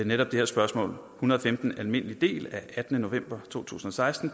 netop det her spørgsmål en hundrede og femten almindelig del af attende november to tusind og seksten